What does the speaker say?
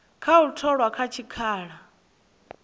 kha u tholwa kha tshikhala